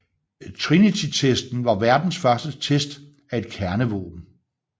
Trinitytesten var verdens første test af et kernevåben